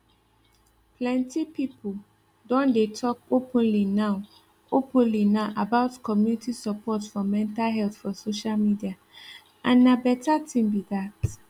plenty people don dey talk openly now openly now about community support for mental health for social media and na better thing be that